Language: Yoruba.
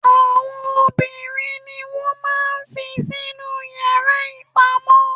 Àwọn obìnrin ni wọn máà ń fí sí inú yara ipamọ.